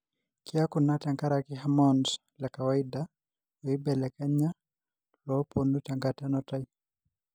kiaku ina tenkaraki hormones lekawaida oibelekenya lopoonu tenkata enutai.